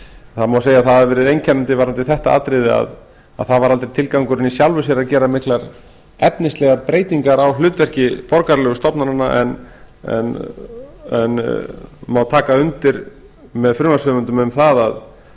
það má segja að það hafi verið einkennandi varðandi þetta atriði að það var aldrei tilgangurinn í sjálfu sér að gera miklar efnislegar breytingar á hlutverki borgaralegu stofnananna en taka má undir með frumvarpshöfundum um